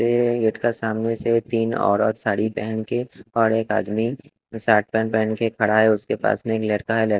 ये गेट का सामने से तीन औरत साड़ी पहन के और एक आदमी के शर्ट पैंट पहन के खड़ा है उसके पास में एक लड़का है ल--